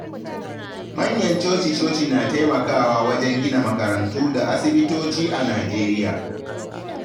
Manyan coci-coci na taimakawa wajen gina makarantu da asibitoci a Najeriya.